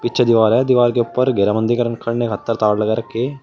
पीछे दीवार है। दीवार के ऊपर घेरा बंदी करने खातिर तार लगा रखी।